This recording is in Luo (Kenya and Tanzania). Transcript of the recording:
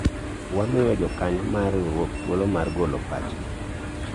wamiyo jokanyo mar riwruok thuolo mar golo pachgi